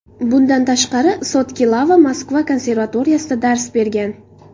Bundan tashqari, Sotkilava Moskva konservatoriyasida dars bergan.